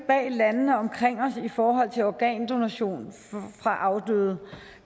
landene omkring os i forhold til organdonation fra afdøde